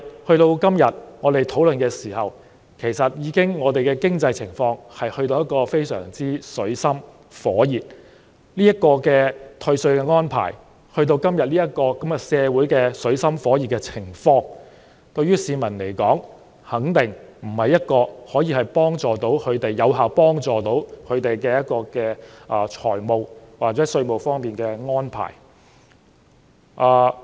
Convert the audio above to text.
可是，我們現在討論這項修正案的時候，香港的經濟情況已到了水深火熱的時候，這項退稅安排在今天社會處於水深火熱的情況，對市民來說肯定不是一項有效幫助他們的財務或稅務方面的安排。